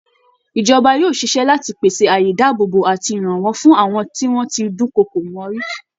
Ìjọba yóò ṣiṣẹ́ láti pèsè àyè ìdáàbòbò àti ìrànwọ́ fún àwọn tí wọ́n ti dúnkokò mọ́ rí